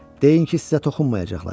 Deyin ki, sizə toxunmayacaqlar.